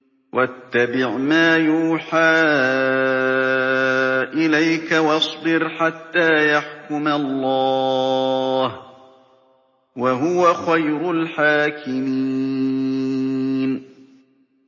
وَاتَّبِعْ مَا يُوحَىٰ إِلَيْكَ وَاصْبِرْ حَتَّىٰ يَحْكُمَ اللَّهُ ۚ وَهُوَ خَيْرُ الْحَاكِمِينَ